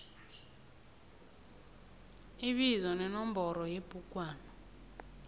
ibizo nenomboro yebhugwana